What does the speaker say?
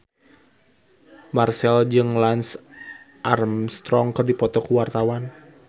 Marchell jeung Lance Armstrong keur dipoto ku wartawan